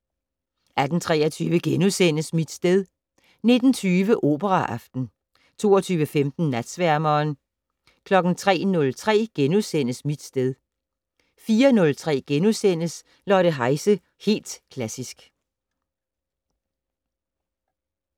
18:23: Mit sted * 19:20: Operaaften 22:15: Natsværmeren 03:03: Mit sted * 04:03: Lotte Heise - Helt Klassisk *